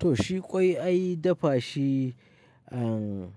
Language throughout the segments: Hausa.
To, shi ƙwai ai dafa shi, aaan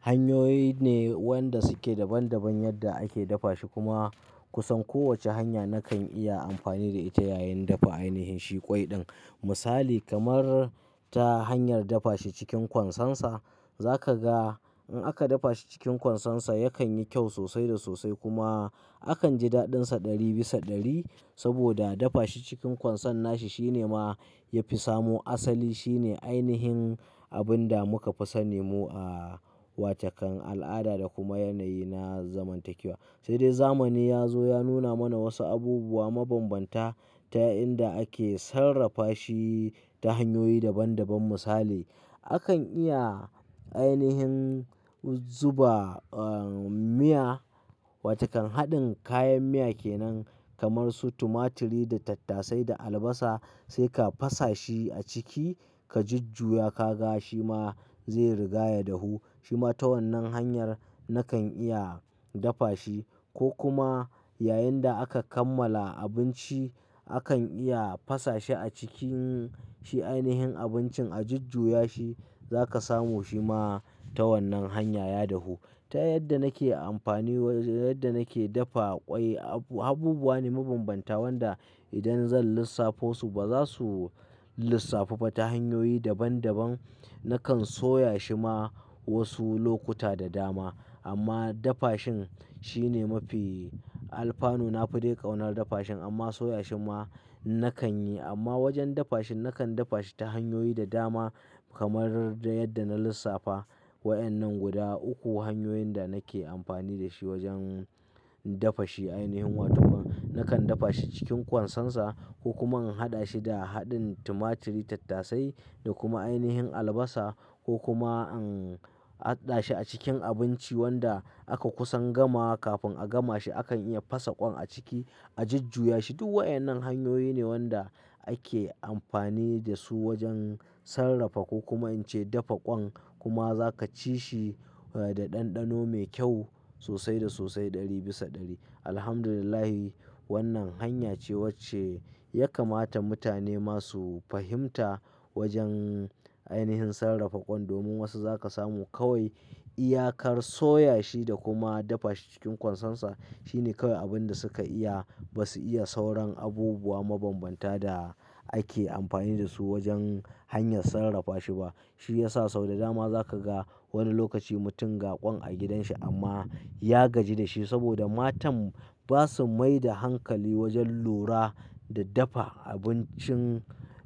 hanyoyi ne wanda suke daban daban yadda ake dafa shi kuma kusan kowacce hanya nakan iya amfani da ita yayin dafa ainihin shi ƙwai din. Misali kamar ta hanyar dafa shi cikin kwansansa. Za ka ga in aka dafa shi cikin kwansansa yakan yi kyau sosai da sosai kuma akan ji daɗinsa ɗari bisa ɗari. Saboda dafa shi cikin kwanson nashi shi ne ma ya fi samo asali. Shi ne ainihin abin da muka fi sani mu a watakan al'ada da kuma yanayi na zamantakewa. Sai dai zamani ya zo ya nuna mana wasu abubuwa mabambanta ta inda ake sarrafa shi ta hanyoyi daban daban. Misali, akan iya ainihin zuba, aaan miya, wata kan haɗin kayan miya ke nan kamar su tumaturi da tattasai da albasa. Sai ka fasa shi a ciki, ka jujjuya ka ga shi ma zai rigaya dahu. Shi ma ta wannan hanyar nakan iya dafa shi. Ko kuma yayin da aka kammala abinci akan iya fasa shi a cikin shi ainihin abincin, a jujjaya shi za ka samu shi ma ta wannan hanya ya dahu. Ta yadda nake amfani waj-- yadda nake dafa ƙwai, abu-- habubuwa ne mabambanta wanda idan zan lissafo su ba za su lissafu ba ta hanyoyi daban daban. Nakan soya shi ma wasu lokuta da dama. Amma dafa shin shine mafi. Alfanu na fi dai ƙaunar dafa shin amma soyan shi ma nakan yi. Amma wajen dafa shin nakan dafa shi ta hanyoyi da dama kamar yadda na lissafa. Wa'yannan guda uku hanyoyin da nake amfani da shi wajen dafa shi ainihin. Wato ba-- nakan dafa shi cikin kwansansa ko kuma in haɗa shi da haɗin tumaturi, tattasai da kuma ainihin albasa ko kuma in haɗa shi a cikin abinci wanda aka kusan gama. Kafin a gama shi akan iya fasa ƙwan a ciki, a jujjaya shi. Duk wa'yannan hanyoyi ne wanda ake amfani da su wajen sarrafa ko kuma in ce dafa ƙwan kuma za ka ci shi, eh, da ɗanɗano mai kyau sosai da sosai ɗari bisa ɗari. Alhamdulillah wannan hanya ce wacce ya kamata mutane masu fahimta wajen ainihin sarrafa ƙwan domin wasu za ka samu kawai iyakar soya shi da kuma dafa shi cikin kwansansa. Shi ne kawai abin da suka iya. Ba su iya sauran abubuwa mabambanta da ake amfani da su wajen hanyar sarrafa shi ba. Shi ya sa sau da dama za ka ga wani lokaci mutum ga ƙwan a gidanshi amma ya gaji da shi saboda matan ba su mai da hankali wajen lura da dafa abincin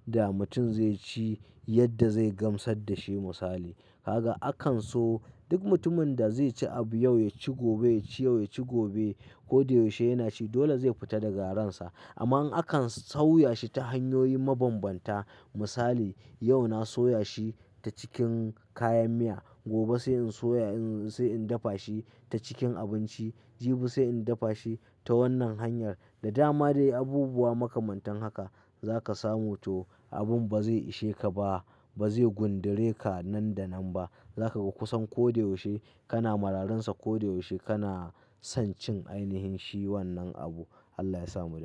da mutum zai ci yadda zai gamsar da shi misali. Ka ga akan so duk mutumin da zai ci abu yau ya ci gobe, ya ci yau ya ci gobe. Ko da yaushe yana ci dole zai fita daga ransa. Amma in akan sauya shi ta hanyoyi mabambanta misali, yau na soya shi ta cikin kayan miya. Gobe sai in soya, in, sai in dafa shi ta cikin abinci. Jibi sai in dafa shi ta wannan hanyar. Da dama dai abubuwa makamantan haka za ka samu. To abin ba zai ishe ka ba, ba zai gundure ka nan da nan ba. Za ka ga kusan ko da yaushe kana mararinsa, ko da yaushe kana son cin ainihin shi wannan abu. Allah ya sa mu da ce.